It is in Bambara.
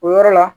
O yɔrɔ la